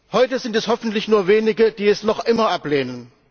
Heute sind es hoffentlich nur Wenige, die es noch immer ablehnen.